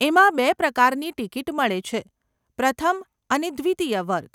એમાં બે પ્રકારની ટીકીટ મળે છે, પ્રથમ અને દ્વિતીય વર્ગ.